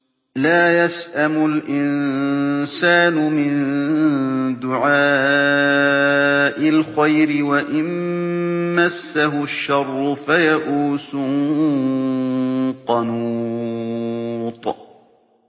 لَّا يَسْأَمُ الْإِنسَانُ مِن دُعَاءِ الْخَيْرِ وَإِن مَّسَّهُ الشَّرُّ فَيَئُوسٌ قَنُوطٌ